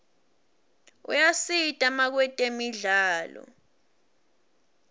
ayasita makwetemidlalo